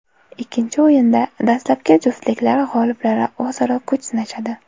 Ikkinchi o‘yinda dastlabki juftliklar g‘oliblari o‘zaro kuch sinashadi.